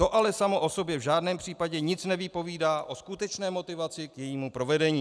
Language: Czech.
To ale samo o sobě v žádném případě nic nepovídá o skutečné motivaci k jejímu provedení.